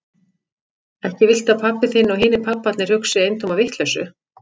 Ekki viltu að pabbi þinn og hinir pabbarnir hugsi eintóma vitleysu?